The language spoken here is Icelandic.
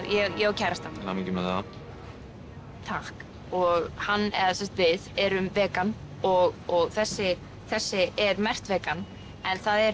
ég á kærasta til hamingju með það takk og hann eða við erum vegan og og þessi þessi er merkt vegan en það er